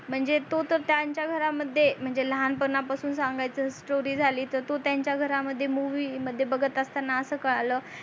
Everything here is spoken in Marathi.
म्हणजे तो तर त्यांच्या घरा मध्ये म्हणजे लहानपणा पासून सांगायची story झाली तर तो त्यांच्या घरा मध्ये movie मध्ये बगत असताना कळाल